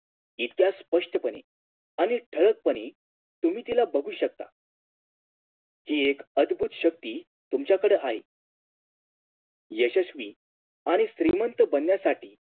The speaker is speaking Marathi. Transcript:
इतक्या स्पष्टपणे आणि ठळकपणे तुम्ही तिला बघू शकता ती एक अद्भुत शक्ती तुमच्याकडे आहे यशस्वी आणि श्रीमंत बनण्यासाठी